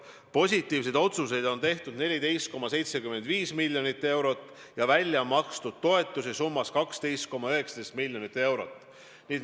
Positiivseid otsuseid on tehtud 14,75 miljoni euro kohta ja välja on makstud toetusi summas 12,19 miljonit eurot.